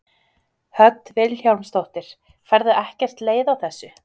Hödd Vilhjálmsdóttir: Færðu ekkert leið á þessu?